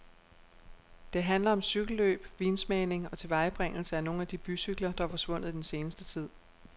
Det handler om cykelløb, vinsmagning og tilvejebringelse af nogle af de bycykler, der er forsvundet i den seneste tid.